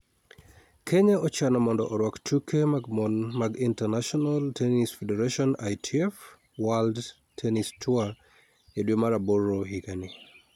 Kenya ochano mondo orwak tuke mag mon mag International Tennis Federation (ITF) World Tennis Tour e dwe mar aboro higani.